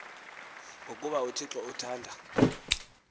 ngokuba uthixo uthanda